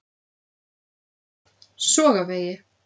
Sogavegi